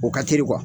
O ka teli